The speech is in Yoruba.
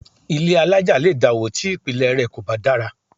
Ilé alájà lè dàwó tí ìpìlẹ̀ rẹ̀ kò bá dára